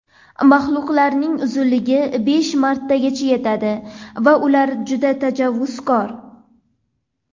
Maxluqlarning uzunligi besh metrgacha yetadi va ular juda tajovuzkor.